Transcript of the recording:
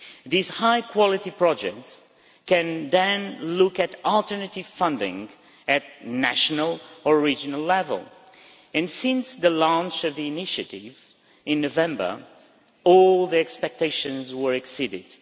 These high quality projects can then look at alternative funding at national or regional level, and since the launch of the initiative in November, all the expectations were exceeded.